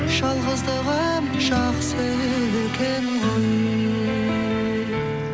жалғыздығым жақсы екен ғой